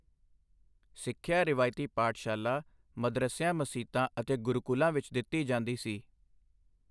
ਸਿੱਖਿਆ ਰਵਾਇਤੀ ਪਾਠਸ਼ਾਲਾ ਮਦਰਸਿਆਂ ਮਸੀਤਾਂ ਅਤੇ ਗੁਰੂਕੁਲਾਂ ਵਿਚ ਦਿੱਤੀ ਜਾਂਦੀ ਸੀ।